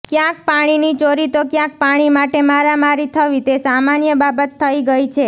ક્યાંક પાણીની ચોરી તો ક્યાંક પાણી માટે મારામારી થવી તે સામાન્ય બાબત થઈ ગઈ છે